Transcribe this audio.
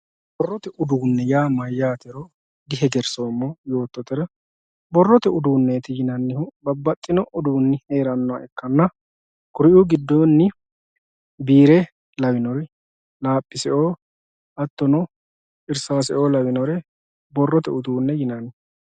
borrote uduune yaa mayaatero dihegersoomo yoototera borrote uduuneeti yinannihu babbaxino uduuni heeraha ikkanna kuri'uu giddonni biire lawinori laaphise'oo hattono irsaase'oo lawinore barrote uduune yinaanni